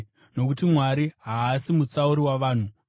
Nokuti Mwari haasi mutsauri wavanhu.